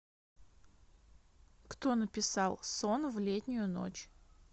кто написал сон в летнюю ночь